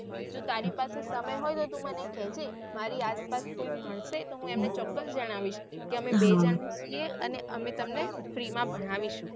જો તારી પાસે સમય હોય તો તું મને કહેજે મારી આસ પાસ કોઈ મળશે તો હું એમને ચોક્કસ જણાવીશ કે અમે બે જન છીએ અને અમે તમને free માં ભણાવીશું.